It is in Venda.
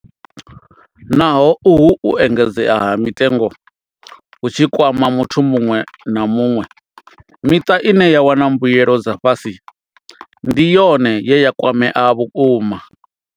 Naho uhu u engedzea ha mitengo hu tshi kwama muthu muṅwe na muṅwe, miṱa ine ya wana mbuelo dza fhasi ndi yone ye ya kwamea vhukuma.